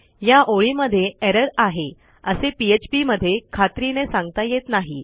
या ओळीमध्ये एरर आहे असे phpमध्ये खात्रीने सांगता येत नाही